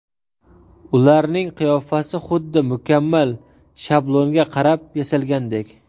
Ularning qiyofasi xuddi mukammal shablonga qarab yasalgandek.